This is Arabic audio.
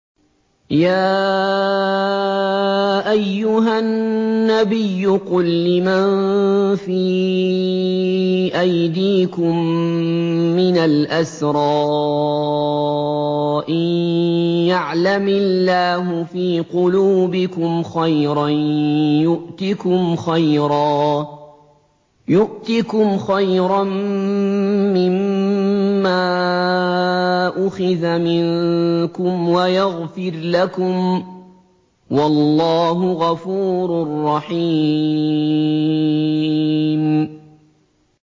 يَا أَيُّهَا النَّبِيُّ قُل لِّمَن فِي أَيْدِيكُم مِّنَ الْأَسْرَىٰ إِن يَعْلَمِ اللَّهُ فِي قُلُوبِكُمْ خَيْرًا يُؤْتِكُمْ خَيْرًا مِّمَّا أُخِذَ مِنكُمْ وَيَغْفِرْ لَكُمْ ۗ وَاللَّهُ غَفُورٌ رَّحِيمٌ